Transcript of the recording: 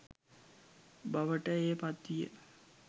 බවට එය පත් විය.